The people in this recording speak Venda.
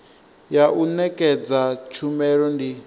ya u nekedza tshumelo ndi